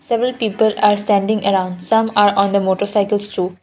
several people are standing around some are on the motorcycles shop.